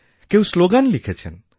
কেউ স্লোগান লিখেছেন